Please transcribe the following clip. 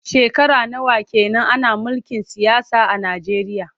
Shekara nawa ke nan ana mulkin siyasa a Nijeriya?